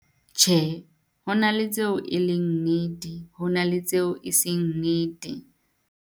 Tjhe, ho na le tseo e leng nnete, ho na le tseo e seng nnete.